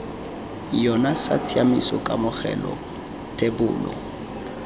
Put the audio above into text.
yona sa tshiaimiso kamogelo thebolo